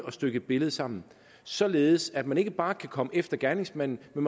stykke et billede sammen således at man ikke bare kan komme efter gerningsmanden men